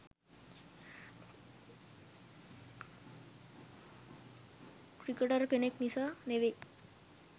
Cricketer කෙනෙක් නිසා නෙවෙයි.